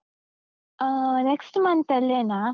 Ah next month ಅಲ್ಲೇನಾ.